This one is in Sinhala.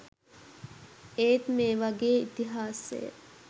ඒත් මේ වගේ ඉතිහාසය